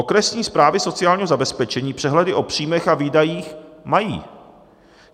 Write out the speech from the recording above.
Okresní správy sociálního zabezpečení přehledy o příjmech a výdajích mají.